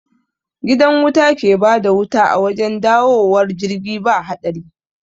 Gidan wuta ke bada wuta a wajen dawowar jirgi ba haɗari